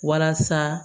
Walasa